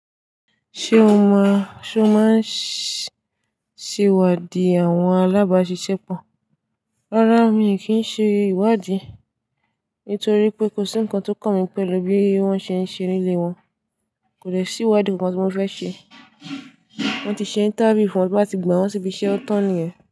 Ṣé o máa, ṣé o máa ń ṣe ìwádìí àwọn alábàáṣiṣẹ́ pọ̀? Rárá mi kì í ṣe ìwádìí, nítorí pé kò sí nnkan tó kàn mí pẹ̀lú bí wọ́n ṣe ń ṣe nílé wọn. Kò lè sí ìwádìí nkan tí mo fẹ́ ṣe. Wọ́n ti ṣe interview fún wọn bí wọ́n a ti gba wọn síbi iṣẹ́ ọ̀tan ni yẹn.